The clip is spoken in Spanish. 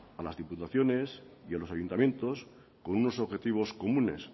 a las diputaciones y a los ayuntamientos con unos objetivos comunes